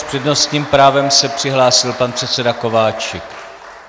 S přednostním právem se přihlásil pan předseda Kováčik.